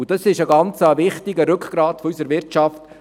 Diese Betriebe sind ein sehr wichtiges Rückgrat unserer Wirtschaft.